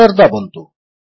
Enter ଦାବନ୍ତୁ